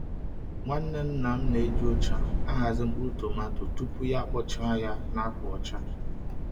Nwanne nna m na-eji ụcha ahazi mkpụrụ tomato tupu ya akpọchaa ya na akwa ọcha.